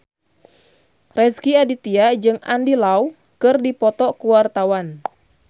Rezky Aditya jeung Andy Lau keur dipoto ku wartawan